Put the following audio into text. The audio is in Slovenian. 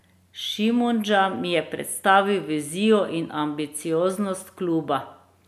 Šimundža mi je predstavil vizijo in ambicioznost kluba.